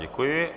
Děkuji.